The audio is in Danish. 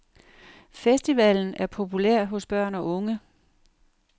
Festivalen er populær hos børn og unge.